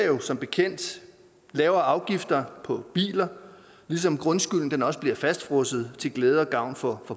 jo som bekendt lavere afgifter på biler ligesom grundskylden også bliver fastfrosset til glæde og gavn for